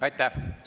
Aitäh!